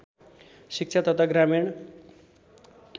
शिक्षा तथा ग्रामीण